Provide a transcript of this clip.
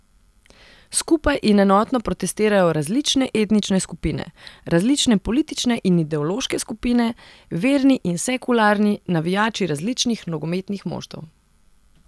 Skupaj in enotno protestirajo različne etnične skupine, različne politične in ideološke skupine, verni in sekularni, navijači različnih nogometnih moštev.